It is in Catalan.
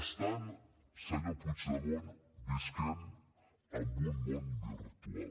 estan senyor puigdemont vivint en un món virtual